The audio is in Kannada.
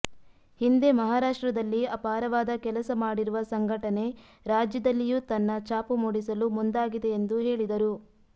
ಹಿಂದೆ ಮಹಾರಾಷ್ಟ್ರದಲ್ಲಿ ಅಪಾರವಾದ ಕೆಲಸ ಮಾಡಿರುವ ಸಂಘಟನೆ ರಾಜ್ಯದಲ್ಲಿಯೂ ತನ್ನ ಛಾಪು ಮೂಡಿಸಲು ಮುಂದಾಗಿದೆ ಎಂದು ಹೇಳಿದರು